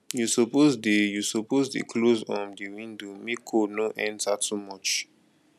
you suppose dey you suppose dey close um di window make cold no enter too much